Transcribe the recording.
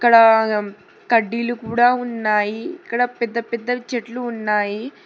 ఇక్కడ కడ్డీలు కూడా ఉన్నాయి ఇక్కడ పెద్ద పెద్దవి చెట్లు ఉన్నాయి.